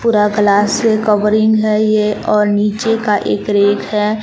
पूरा glass covering है यह और नीचे का एक रैक है।